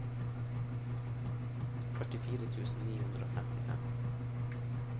førtifire tusen ni hundre og femtifem